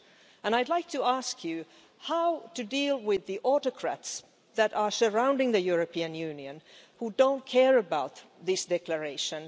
and I would like to ask you how to deal with the autocrats that are surrounding the European Union who don't care about this declaration